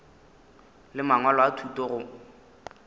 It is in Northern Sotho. le mangwalo a thuto go